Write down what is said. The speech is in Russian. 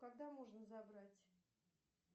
когда можно забрать